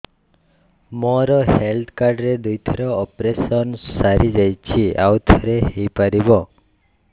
ମୋର health card ରେ ଦୁଇ ଥର ଅପେରସନ ସାରି ଯାଇଛି ଆଉ ଥର ହେଇପାରିବ